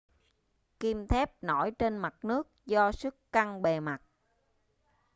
kim thép nổi trên mặt nước do sức căng bề mặt